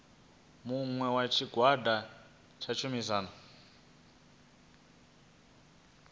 muṅwe wa tshigwada tsha tshumisano